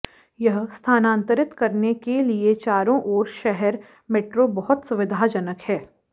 यह स्थानांतरित करने के लिए चारों ओर शहर मेट्रो बहुत सुविधाजनक है